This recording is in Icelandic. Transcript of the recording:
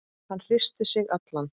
Hann hristir sig allan.